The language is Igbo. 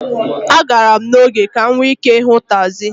A gara m n'oge ka m nwee ike ịhụ tagzi.